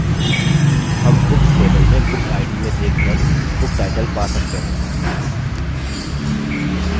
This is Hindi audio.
हम books table में bookid में देख कर booktitle पा सकते हैं